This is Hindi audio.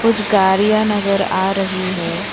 कुछ गाडियाँ नजर आ रही है।